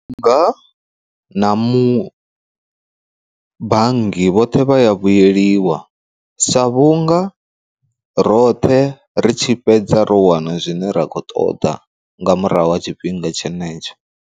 Ndi nga na mu bannga vhoṱhe vha ya vhuyeliwa, sa vhunga roṱhe ri tshi fhedza ro wana zwine ra khou ṱoḓa nga murahu ha tshifhinga tshenetsho.